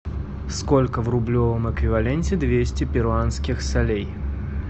сколько в рублевом эквиваленте двести перуанских солей